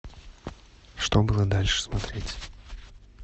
что было дальше смотреть